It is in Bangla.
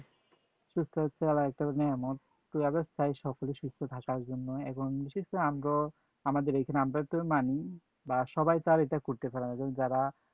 সুস্থতা আল্লাহর একটা নিয়ামত, তো আমরা চাই সকলে সুস্থ থাকার জন্য, এখন যেহেতু আমগো, আমাদের এখানে আমরা তো মানি, বা সবাই তো আর এটা করতে পারে না এবং যারা